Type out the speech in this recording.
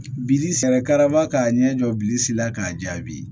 Bili sera karama ka ɲɛ jɔ bilisi la k'a jaabi